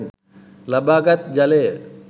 ලබාගත් ජලය